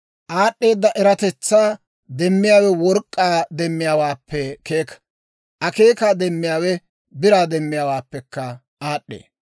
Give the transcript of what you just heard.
Aad'd'eeda eratetsaa demmiyaawe work'k'aa demmiyaawaappe keeka; akeekaa demmiyaawe biraa demmiyaawaappekka aad'd'ee.